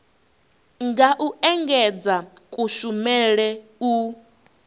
nga u engedzedza kushumele u